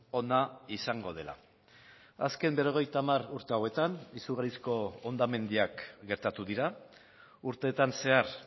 ona izango dela azken berrogeita hamar urte hauetan izugarrizko hondamendiak gertatu dira urteetan zehar